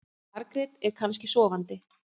Margrét er kannski sofandi.